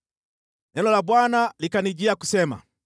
Neno la Bwana likanijia kusema,